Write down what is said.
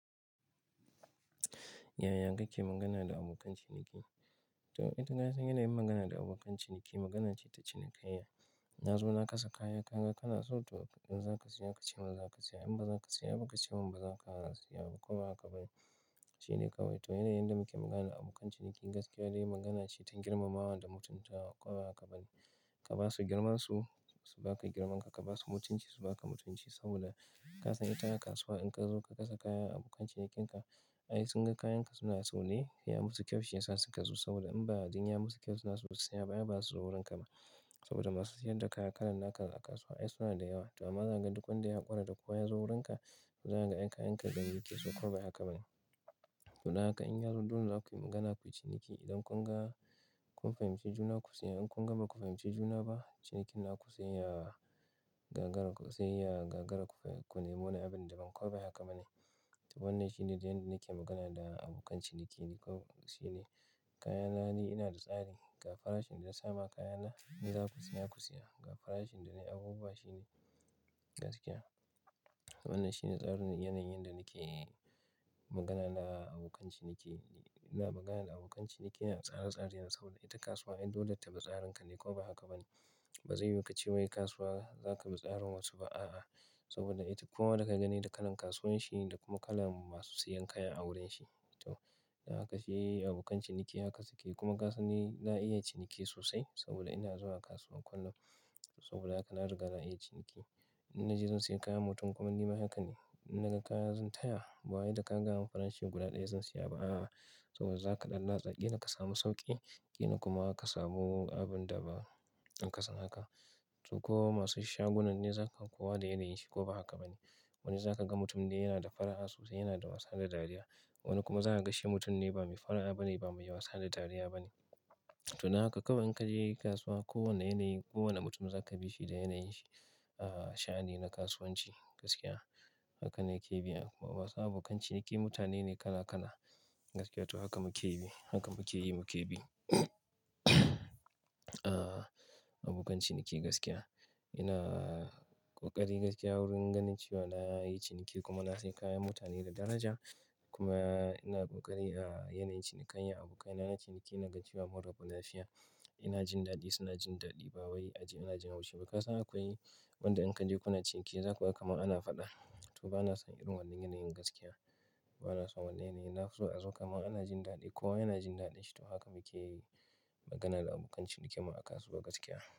Yaya kake magana da abokan ciniki? To ita na san yanayin magana da abokan ciniki magana ce ta cinikayya. Na zo na kasa kaya, ka ga kana, so to in za ka siya ka ce min za ka siya. In ba za ka siya, ka ce min ba za ka siya ko ba haka ba ne. Shi ne kawai. To yanayin yadda muke magana da abokan ciniki gaskiya dai magana ce ta girmamawa da mutuntawa ko ba haka ba ne. Ka ba su girmansu su baka girmanka, ka ba su mutunci su baka mutunci saboda ka san ita kasuwa in ka zo ka kasa kaya, abokan cinikinka ai sun ga kayanka suna sone, ya musu kyau shiyasa suka zo saboda in ba dan ya musu kyau suna so su siya ba ai basu zo wurinka ba. Saboda masu siyar da kaya kalan da aka a kasuwa ai suna da yawa. To amma zakaga duk wanda ya ƙorata ko ya zo wurinka zaga ga kayanka dangi ke so, ko ba haka ba ne? To dan haka in yazama dole zakuyi magana ku yi ciniki. Idan kun ga kun fahimci juna ku siya, in kun ga baku fahimci juna ba, cinikin haku zai iya gagara, zai iya gagara ku ku nemona abin da baka ko ba haka ba ne? To wannan shi ne don nake magana da abokan ciniki ne kawai. Shi ne kayana ne ina da tsari, ga farashin da na sama kayana, in za ka siya ku siya. Ga farashin danai abubuwa shi ne gaskiya. Wannan shine tsarin yanayin da nake magana na da abokan ciniki. Ina magana da abokan ciniki da tsare-tsare yana saboda ita kasuwa ai dole ta bi tsarinka ne ko ba haka ba ne? Ba zai yiwu ka ce wai kasuwa zaka bi tsarin wasu ba, a'a. Saboda ita koma da ka gani da kalan kasuwan shi ne, da kuma kala masu siyan kaya a wurin shi. To haka shi abokan ciniki haka suke. Kuma ka sani na iya ciniki sosai saboda ina zuwa kasuwan kullum. Saboda haka na riga na iya ciniki. In naje zan siya kaya mutum kuma ni ma haka ne. Na ga kaya zan taya, ba wani da ka ga farashin guda ɗaya zan siya ba, a'a. Saboda za ka ɗan latsa ƙila ka samu sauƙi, ƙila kuma ka samu abun da ba in kasan haka. To ko masu shagunan ne zaka kuwa da yanayin shi ko ba haka ba ne. Wani zaka ga mutum ne yana da fara'a sosai, yana da wasa da dariya. Wani kuma za kaga shi mutum ne ba mai fara'a bane, ba mai wasa da dariya bane. To dan haka kawai inka je kasuwa, kowane yanayi, kowane mutum zaka bi shi da yanayin shi. A'a, sha'ani na kasuwanci gaskiya. Haka ne yake biya. Kuma masu abokan ciniki mutane ne kala kala gaskiya. To haka muke bi, haka muke yi muke bi. A'a, abokan ciniki gaskiya. Ina ƙoƙari gaskiya wurin ganin cewa na yi ciniki kuma na sayi kaya mutane da daraja. Kuma ina ƙoƙari a yanayi cinikayya abokai na ciniki na ganci ba murba, lafiya. Ina jin daɗi suna jin daɗi. Ba wani aji ina jin haushi ba. Kasan akwai wanda in ka je kuna ciniki zaku ba kama ana faɗa. To ba na san irin wannan yanayin gaskiya. Ba na so wannan yanayi. Nafi so a zo kama ana jin daɗi kowa yana jin daɗi. To haka muke yi magana da abokan ciniki mu a kasuwa gaskiya.